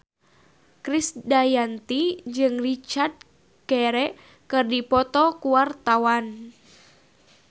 Krisdayanti jeung Richard Gere keur dipoto ku wartawan